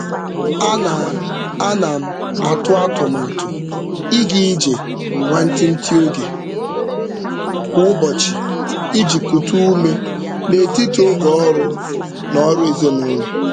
Ana Ana m atụ atụmatụ ịga ije nwantiti oge kwa ụbọchị iji kute ume n'etiti oge ọrụ na ọrụ ezinụụlọ.